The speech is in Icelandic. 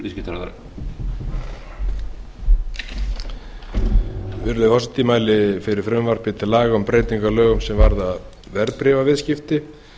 virðulegi forseti ég mæli sem viðskiptaráðherra fyrir frumvarpi til laga um breytingu á lögum er varða verðbréfaviðskipti